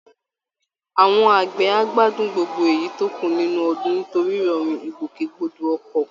Àwọn àgbẹ̀ á gbádùn gbogbo èyí tó kú nínú ọdún nítorí ìrọ̀rùn ìgbòkègbodò ọkọ̀